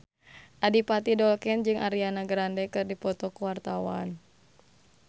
Adipati Dolken jeung Ariana Grande keur dipoto ku wartawan